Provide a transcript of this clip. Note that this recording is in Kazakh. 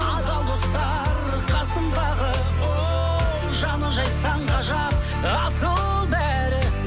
адал достар қасымдағы оу жаны жайсан ғажап асыл бәрі